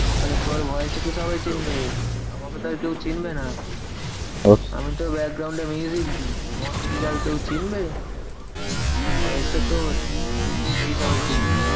আরে তোর voice টা তো সবাই চিনবে। আমাকে তো আর কেউ চিনবে না। আমি তো এ দি, আমাকে কি আর কেউ চিনবে? voice টা তোর তোকেই সবাই চিনবে।